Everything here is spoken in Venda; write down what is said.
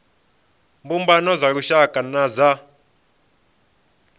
mbumbano dza lushaka na dza